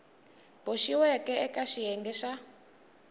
boxiweke eka xiyenge xa a